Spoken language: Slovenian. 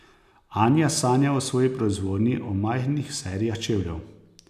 Anja sanja o svoji proizvodnji, o majhnih serijah čevljev.